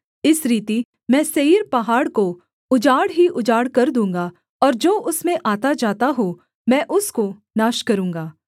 इस रीति मैं सेईर पहाड़ को उजाड़ ही उजाड़ कर दूँगा और जो उसमें आताजाता हो मैं उसको नाश करूँगा